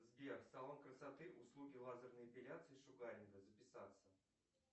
сбер салон красоты услуги лазерной эпиляции и шугаринга записаться